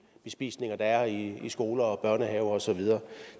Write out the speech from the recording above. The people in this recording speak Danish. bespisninger der er i skoler børnehaver og så videre